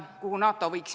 Austatud ettekandja!